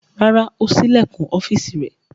Rárá, ó ṣí ilẹ̀kùn ọ́fíísì rẹ̀.